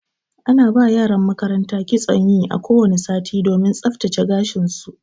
Ana ba wa yaran makaranta kitson yi a ko wani sati domin tsaftsace gashin su.